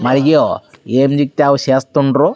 మరియు ఏ లిఫ్ట్ అవి చేస్తుండ్రు.